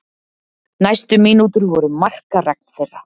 Næstu mínútur voru markaregn þeirra.